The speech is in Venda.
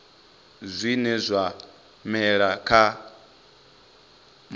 zwine zwa mela kha matombo